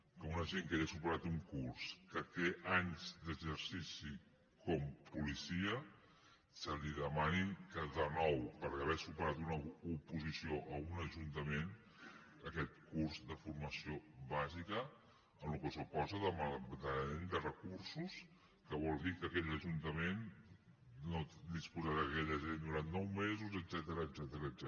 que a un agent que ja ha superat un curs que té anys d’exercici com a policia se li demani que nou per haver superat una oposició a un ajuntament aquest curs de formació bàsica amb el que suposa de malbaratament de recursos que vol dir que aquell ajuntament no disposarà d’aquell agent durant nou mesos etcètera